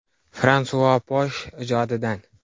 Fransua Posh ijodidan.